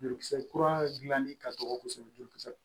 Jurukisɛ kura dilanni ka dɔgɔ kosɛbɛ kosɛbɛ